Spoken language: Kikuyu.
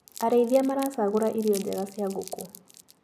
Arĩithia maracagũra irio njega cia ngũkũ.